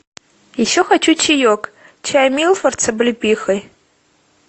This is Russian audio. еще хочу чаек чай милфорд с облепихой